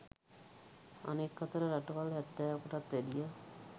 අනෙක් අතට රටවල් හැත්තෑවකටත් වැඩිය